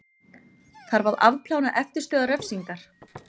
Þarf að afplána eftirstöðvar refsingar